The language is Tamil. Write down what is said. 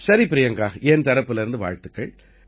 சரி பிரியங்கா என் தரப்புல வாழ்த்துக்கள்